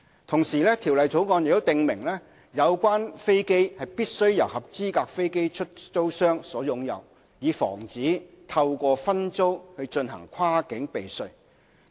同時，《條例草案》訂明有關飛機必須由合資格飛機出租商所擁有，以防止透過分租進行跨境避稅。